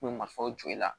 Kun bɛ marifaw jɔ i la